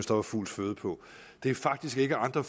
der var fugls føde på det er faktisk ikke andre